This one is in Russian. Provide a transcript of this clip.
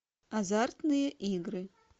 азартные игры